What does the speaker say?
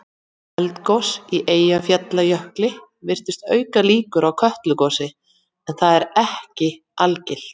eldgos í eyjafjallajökli virðist auka líkur á kötlugosi en það er ekki algilt